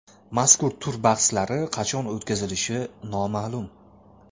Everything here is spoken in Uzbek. Mazkur tur bahslari qachon o‘tkazilishi noma’lum.